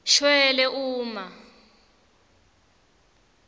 shwele uma